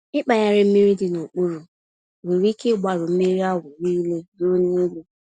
Ịkpagharị mmiri dị n'okpuru nwere ike ịgbarụ mmírí ahụ nile ruo n'elu.